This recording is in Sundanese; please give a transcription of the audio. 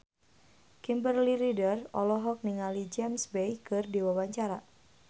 Kimberly Ryder olohok ningali James Bay keur diwawancara